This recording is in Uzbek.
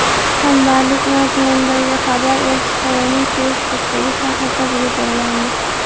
Hamdardlik mazmunidagi xabar elchixonaning Facebook’dagi sahifasiga joylandi .